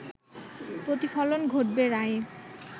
প্রতিফলন ঘটবে রায়ে